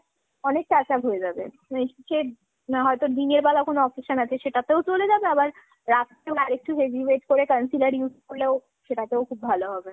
অনেক touch up হয়ে যাবে। সে হয়তো দিনের বেলা কোনো occasion আছে সেটা তেও চলে যাবে। আবার রাতে তো আর একটু heavy weight করে concealer use করলেও সেটা তেও খুব ভালো হবে।